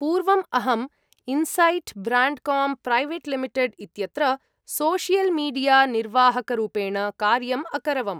पूर्वम्, अहम् Insight Brandcom Private Limited इत्यत्र सोशियल् मीडिया निर्वाहकरूपेण कार्यम् अकरवम्।